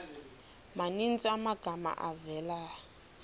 maninzi amagama avela